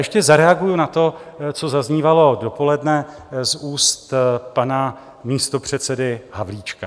Ještě zareaguji na to, co zaznívalo dopoledne z úst pana místopředsedy Havlíčka.